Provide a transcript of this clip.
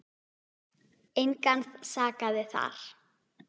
Engan sakaði þar.